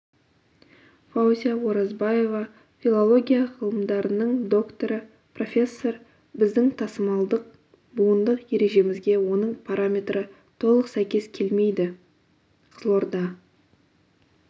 фаузия оразбаева филология ғылымдарының докторы профессор біздің тасымалдық буындық ережемізге оның параметрі толық сәйкес келмейді қызылорда